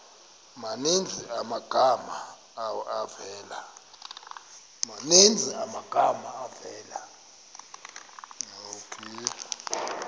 maninzi amagama avela